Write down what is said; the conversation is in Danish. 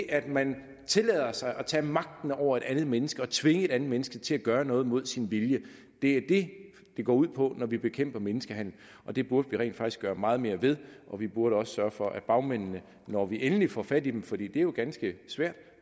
at man tillader sig at tage magten over et andet menneske og tvinge et andet menneske til at gøre noget mod dets vilje det er det det går ud på når vi bekæmper menneskehandel og det burde vi rent faktisk gøre meget mere ved vi burde også sørge for at bagmændene når vi endelig får fat i dem fordi det jo er ganske svært